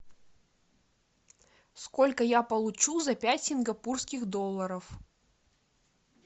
сколько я получу за пять сингапурских долларов